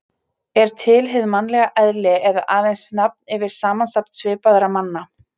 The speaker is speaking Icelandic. Er til hið mannlega eðli eða aðeins nafn yfir samsafn svipaðra manna?